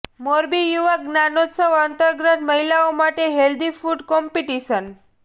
મોરબી યુવા જ્ઞાનોત્સવ અંતર્ગત મહિલાઓ માટે હેલ્ધી ફૂડ કોમ્પિટિશન